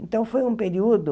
Então, foi um período